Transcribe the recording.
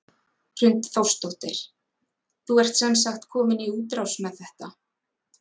Hrund Þórsdóttir: Þú ert sem sagt komin í útrás með þetta?